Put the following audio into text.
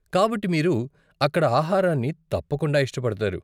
కాబట్టి మీరు అక్కడ ఆహారాన్ని తప్పకుండా ఇష్టపడతారు.